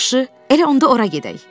Yaxşı, elə onda ora gedək.